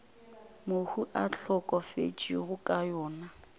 mohu a hlokafetšego ka yona